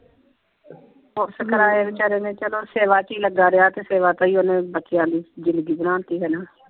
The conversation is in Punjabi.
ਪੁੱਤ ਕਰਾਏ ਬੇਚਾਰੇ ਨੇ ਚੱਲੋ ਸੇਵਾ ਚ ਹੀ ਲੱਗਾ ਰਿਹਾ ਤੇ ਸੇਵਾ ਤੇ ਹੀ ਓਹਨੇ ਬੱਚਿਆਂ ਦੀ ਜ਼ਿੰਦਗੀ ਬਣਾ ਤੀ ਹਣਾ।